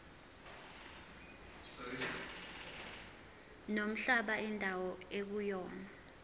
nomhlaba indawo ekuyona